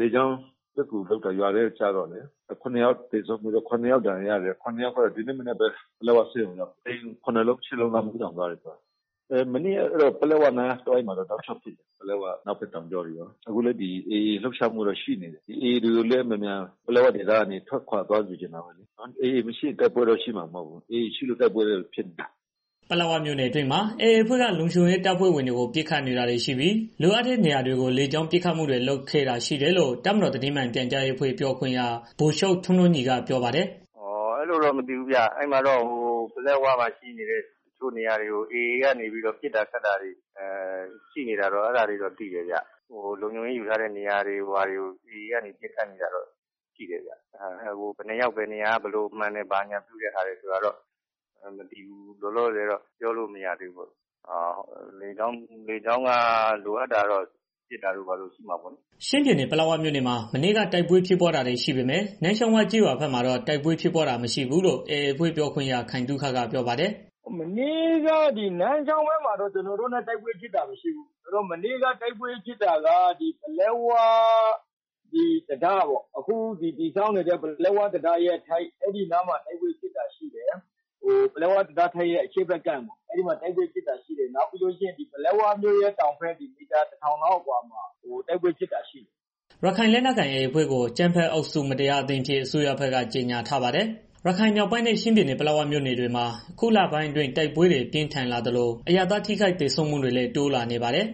လေကြောင်းပစ်ကူလုပ်တော့ ရွာထဲကို ကျတော့လေ ၇ယောက်သေဆုံးပြီးတော့ ခုနစ်ယောက်ဒဏ် ရာရတယ်။ ရှစ်ယောက်ကတော့ ဒီနေ့မနက်ကပဲ ပလက်ဝဆေးရုံကိုရောက်တယ် နေအိမ်တွေလည်း မီးလောင် သွားတယ်။ မနေ့ကတော့ အဲဒီပလက်ဝနားတစ်ဝိုက်မှာတော့ တစ်ချိန်လုံးပစ်နေတာရှိတယ်။ အနောက်ဘက်တောင်ကြောတွေရော AA လုပ်ရှားမှုတွေတော့ ရှိနေတယ်။ AA တွေကိုလည်း မြန်မြန် ပလက်ဝဒေသက ထွက်ခွာသွားချင်တယ်။ AA မရှိရင် တိုက်ပွဲတော့ ရှိမှာမဟုတ်ဘူး။ AA ရှိလို့ တိုက်ပွဲရှိနေတာ။" ပလက်ဝမြို့နယ်အတွင်းမှာ AA အဖွဲ့က လုံခြုံရေး တပ်ဖွဲ့ဝင်တွေကို ပစ်ခတ်နေတာတွေ ရှိပြီး လိုအပ်တဲ့ နေရာတွေကို လေကြောင်း ပစ်ခတ်မှုတွေ လုပ်ခဲ့တာရှိတယ်လို့ တပ်မတော်သတင်းမှန်ပြန်ကြားရေးအဖွဲ့ ပြောခွင့်ရ ဗိုလ်ချုပ်ထွန်းထွန်းညီက ပြောပါတယ်။ "အဲလိုတော့ မသိဘူးဗျာ ပလက်ဝမှာရှိနေတဲ့ တစ်ချို့နေရာတွေကို AA နေပြီးတော့ ပစ်တာခတ်တာတွေ ရှိနေတာတော့ ရှိတယ်။ လုံခြုံရေး ယူထားတဲ့ နေရာတွေကို AA က နေပြီးတော့ ပစ်နေတာတော့ရှိတယ်ဗျာ။ ဘယ်နှစ်ယောက် ဘယ်နေရာမှန်တယ်ဆိုတာတော့ မသိဘူးလောလောဆယ်တော့ ပြောလို့မရသေးဘူး။ လေကြောင်းပစ်ခတ်မှုတွေ လိုအပ်တာတော့ ရှိမှာပေါ့နော်။" ချင်းပြည်နယ် ပလက်ဝမြို့နယ်မှာ မနေ့က တိုက်ပွဲဖြစ်ပွားတာတွေ ရှိပေမဲ့ နန်းချောင်းဝကျေးရွာဘက်မှာတော့ တိုက်ပွဲဖြစ်ပွားတာ မရှိဘူးလို့ AA အဖွဲ့ပြောခွင့်ရ ခိုင်သုခက ပြောပါတယ်။ "မနေ့က နန်းချောင်းဝဘက်မှာတော့ ကျနော်တို့နဲ့ တိုက်ပွဲဖြစ်တာ မရှိဘူး။ မနေ့က တိုက်ပွဲဖြစ်တာက ပလက်ဝ အခုဆောက်နေတဲ့ ပလက်ဝ တံတားထိပ် အဲဒီနားမှာ တိုက်ပွဲဖြစ်တာရှိတယ်။ ပြီးတော့ ပလက်ဝမြို့ရဲ့ တောင်ဘက် မီးတာ ၁,၀၀၀ လောက် အကွာမှာ တိုက်ပွဲဖြစ်တာရှိတယ်။" ရခိုင်လက်နက်ကိုင် AA အဖွဲ့ကို အကြမ်းဖက်အုပ်စု မတရားအသင်းအဖြစ် အစိုးရဘက်က ကြေငြာထားပါတယ်။ ရခိုင်မြောက်ပိုင်းနဲ့ ချင်းပြည်နယ် ပလက်မြို့နယ်ဘက်တွေမှာ အခုလပိုင်းအတွင်း တိုက်ပွဲတွေ ပို ပြင်းထန်လာသလို အရပ်သား ထိခိုက်သေဆုံးမှုတွေလည်း တိုးလာနေပါတယ်။